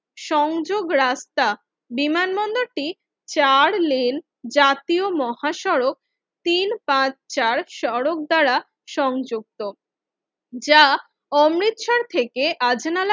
সংযোগ রাস্তা বিমানবন্দরটি চার লেন জাতীয় মহাসড়ক তিন পাঁচ চার সড়ক দ্বারা সংযুক্ত যা অমৃতসর থেকে আজ নালা